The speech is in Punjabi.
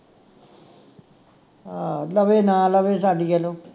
ਹਾਂ ਲਵੇ ਨਾ ਲਵੇ ਸਾਡੀ ਵਲੋਂ